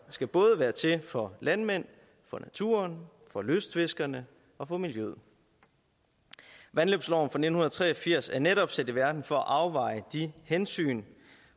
skal både være til for landmænd for naturen for lystfiskerne og for miljøet vandløbsloven fra nitten tre og firs er netop sat i verden for at afveje de hensyn